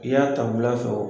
I y'a tabula fɔ.